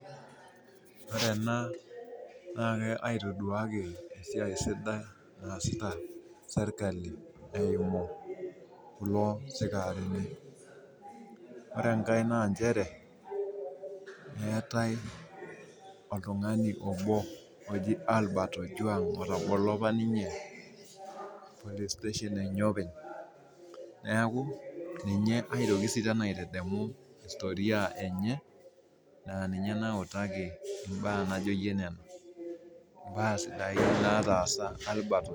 Ore ena na kaitoduaki esiai sidai naasita serkali eimu kulo sikarini ore enkae na eetae oltungani obo oji Albert ojuang otobolo apa ninye police station enye openy neaku ninye aitoki aitadamu istoria enye na ninye nautaki mbaa sidai nataasa Albert